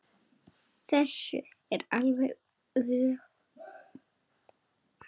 Þessu er alveg öfugt farið.